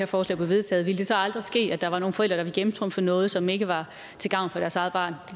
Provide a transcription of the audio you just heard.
forslag blev vedtaget ville det så aldrig ske at der var nogle forældre der ville gennemtrumfe noget som ikke var til gavn for deres eget barn